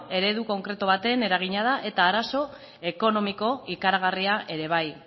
eredu konkretu baten eragina da eta arazo ekonomiko ikaragarria ere bai